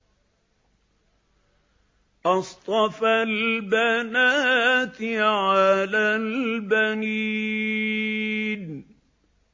أَصْطَفَى الْبَنَاتِ عَلَى الْبَنِينَ